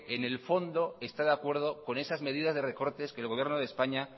en el fondo está de acuerdo con esas medidas de recortes que el gobierno de españa